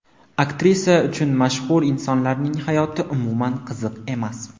Aktrisa uchun mashhur insonlarning hayoti umuman qiziq emas.